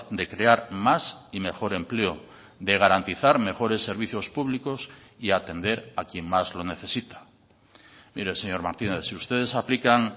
de crear más y mejor empleo de garantizar mejores servicios públicos y atender a quien más lo necesita mire señor martínez si ustedes aplican